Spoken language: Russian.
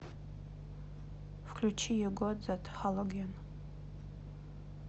включи ю гот зет халоген